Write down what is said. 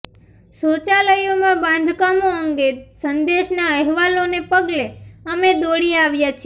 શૌચાલયોમાં બાંધકામો અંગે સંદેશના અહેવાલોને પગલે અમેદોડી આવ્યા છે